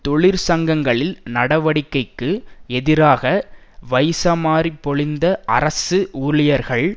தொழிற்சங்கங்களில் நடவடிக்கைக்கு எதிராக வைசமாரி பொழிந்த அரசு ஊழியர்கள்